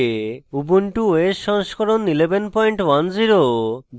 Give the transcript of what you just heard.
ubuntu os সংস্করণ 1110